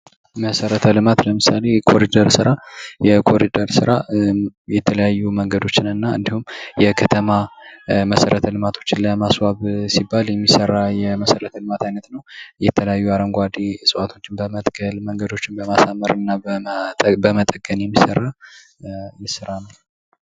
መሰረተ ልማት ለምሳሌ የኮሪደር ስራ የተለያዩ መንገዶችንና የከተማ መሰረተ ልማቶችን ለማስፋብ ሲባል የሚሠራ የመሰረት የመሰረተ ልማት አይነት ነው የተለያዩ አረንጓቶች እዋቶችን በመትከል የሚሰራ የስራ መስክ ነው።